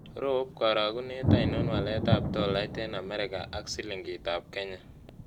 Rop karogunet ainon waletap tolait eng' amerika ak silingitap kenya